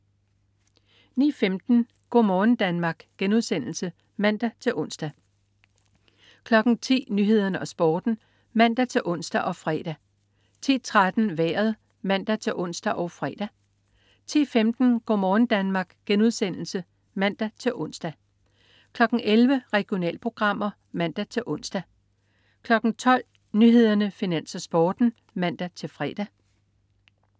09.15 Go' morgen Danmark* (man-ons) 10.00 Nyhederne og Sporten (man-ons og fre) 10.13 Vejret (man-ons og fre) 10.15 Go' morgen Danmark* (man-ons) 11.00 Regionalprogrammer (man-ons) 12.00 Nyhederne, Finans, Sporten (man-fre)